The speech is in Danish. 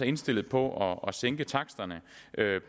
indstillet på at sænke taksterne